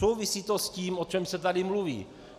Souvisí to s tím, o čem se tady mluví.